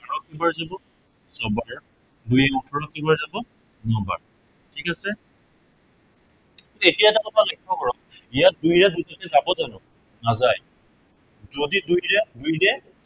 ছবাৰ, দুইৰে ওঠৰক কেইবাৰ যাব, নবাৰ। ঠিক আছে এতিয়া আপুনি এটা কথা লক্ষ্য় কৰক, ইয়াক দুইৰে যাব জানো, নাযায়। যদি দুইৰে দুইৰে